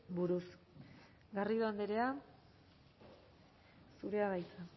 buruz garrido andrea zurea da hitza